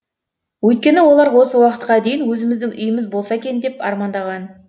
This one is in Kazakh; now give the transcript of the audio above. өйткені олар осы уақытқа дейін өзіміздің үйіміз болса екен деп армандаған